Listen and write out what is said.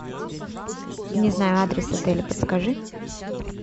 не знаю адрес отеля подскажи